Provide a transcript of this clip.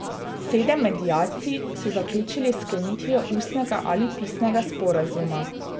Sedem mediacij so zaključili s sklenitvijo ustnega ali pisnega sporazuma.